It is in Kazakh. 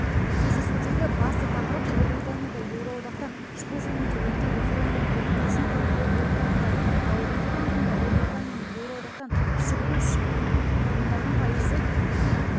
кездесудегі басты тақырып ұлыбританияда еуроодақтан шығу жөнінде өткен референдум қорытындысын талқылау болып табылады ал референдумда ұлыбританияның еуроодақтан шығу үшін тұрғындардың пайызы